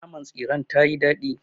Naman tsiren tayii daɗi.